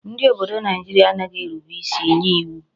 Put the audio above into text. Ndi obodo Naijiria anaghi erube isi nye iwu